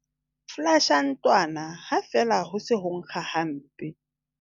Folasha ntlwana ha feela ho se ho nkga hampe.